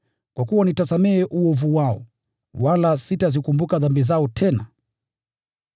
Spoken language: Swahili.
Kwa sababu nitasamehe uovu wao, wala sitazikumbuka dhambi zao tena!”